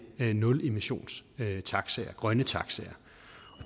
nulemissionstaxaer grønne taxaer